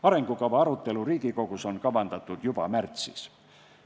Arengukava arutelu Riigikogus on kavandatud toimuma juba märtsis.